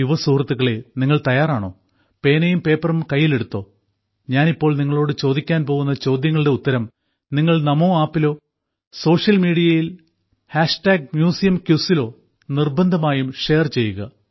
യുവസുഹൃത്തുക്കളേ നിങ്ങൾ തയ്യാറാണോ പേനയും പേപ്പറും കൈയിലെടുത്തോ ഞാൻ ഇപ്പോൾ നിങ്ങളോട് ചോദിക്കാൻ പോകുന്ന ചോദ്യങ്ങളുടെ ഉത്തരം നിങ്ങൾ നമോ ആപ്പിലോ സോഷ്യൽ മീഡിയയിൽ മ്യൂസിയം ക്വിസ് ലോ നിർബ്ബന്ധമായും ഷെയർ ചെയ്യുക